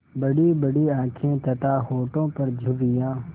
बड़ीबड़ी आँखें तथा होठों पर झुर्रियाँ